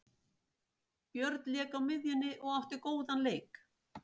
Björn lék á miðjunni og átti góðan leik.